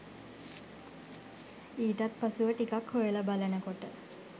ඊටත් පසුව ටිකක් හොයලා බලනකොට